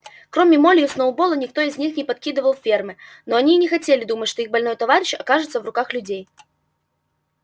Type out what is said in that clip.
кроме молли и сноуболла никто из них не покидал фермы и они не хотели думать что их больной товарищ окажется в руках людей